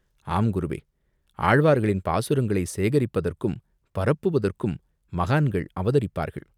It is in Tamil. "ஆம், குருவே!" "ஆழ்வார்களின் பாசுரங்களைச் சேகரிப்பதற்கும் பரப்புவதற்கும் மகான்கள் அவதரிப்பார்கள்.